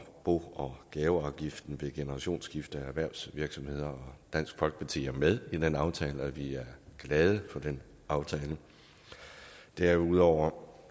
bo og gaveafgiften ved generationsskifter i erhvervsvirksomheder dansk folkeparti er med i den aftale og vi er glade for den aftale derudover